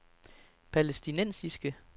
palæstinensiske